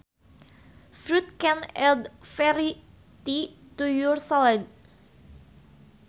Fruit can add variety to your salads